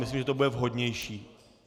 Myslím, že to bude vhodnější.